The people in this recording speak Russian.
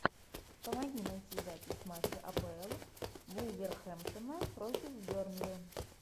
помоги найти запись матча апл вулверхэмптона против бернли